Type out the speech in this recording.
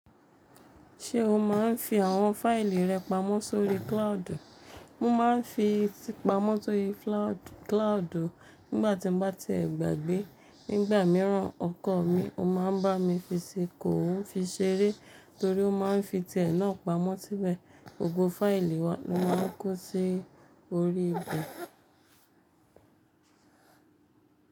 Ṣé o máa ń fi àwọn fáìlì rẹ pamọ́ sórí cloud? Mo máa ń fi ti pamọ́ sórí cloud. Nígbàtí mo bá ti ẹ̀ gbàgbé. Nígbà mìíràn ọkọ mi o máa ń bá mi fi sí i, kò ó fi ṣeré torí ó ma ń fi tiẹ̀ náà pamọ́ síbẹ̀. Gbogbo fáìlì wa ni wọ́n máa ń kó sí orí ìbẹ̀.